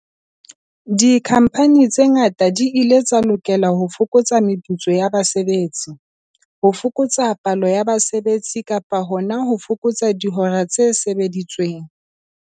Dikhamphani tse ngata di ile tsa lokela ho fokotsa meputso ya basebetsi, ho fokotsa palo ya basebetsi kapa hona ho fokotsa dihora tse sebeditsweng.